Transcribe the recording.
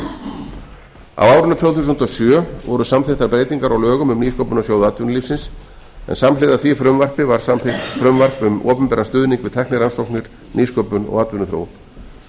á árinu tvö þúsund og sjö voru samþykktar breytingar á lögum um nýsköpunarsjóðs atvinnulífsins en samhliða því frumvarpi var samþykkt frumvarp um opinberan stuðning við tæknirannsóknir nýsköpun og atvinnuþróun